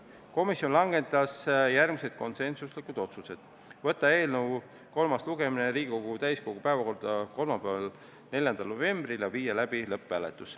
Komisjon langetas järgmised konsensuslikud otsused: võtta eelnõu kolmas lugemine Riigikogu täiskogu päevakorda kolmapäevaks, 4. novembriks ja viia läbi lõpphääletus.